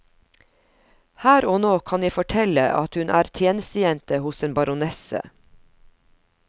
Her og nå kan jeg fortelle at hun er tjenestejente hos en baronesse.